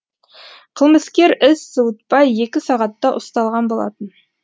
қылмыскер із суытпай екі сағатта ұсталған болатын